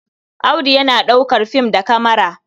Audu yana ɗaukar film da kamara.